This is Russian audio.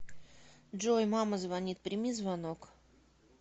джой мама звонит прими звонок